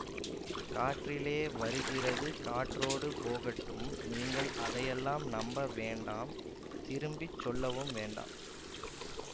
காற்றிலே வருகிறது காற்றோடு போகட்டும் நீங்கள் அதையெல்லாம் நம்ப வேண்டாம் திரும்பி சொல்லவும் வேண்டாம்